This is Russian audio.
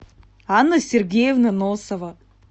анна сергеевна носова